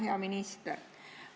Hea minister!